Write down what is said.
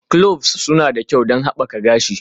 Cloves suna da kyau don haɓaka gashi.